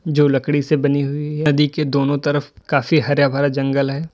जो लकड़ी से बनी हुई है नदी के दोनों तरफ काफी हरा भरा जंगल है।